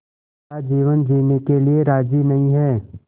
का जीवन जीने के लिए राज़ी नहीं हैं